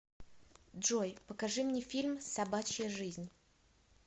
джой покажи мне фильм собачья жизнь